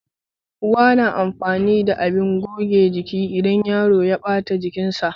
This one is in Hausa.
Uwa na amfani da abin goge jiki idan yaro ya ɓata jikinsa